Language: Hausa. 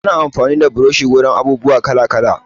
Ana amfani da burushi wurin abubuwa kala-kala.